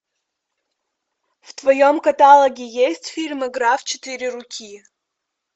в твоем каталоге есть фильм игра в четыре руки